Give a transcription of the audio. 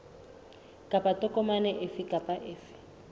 kapa tokomane efe kapa efe